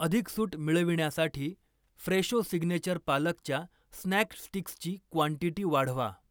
अधिक सूट मिळविण्यासाठी फ्रेशो सिग्नेचर पालकच्या स्नॅक स्टिक्सची क्वांटीटी वाढवा.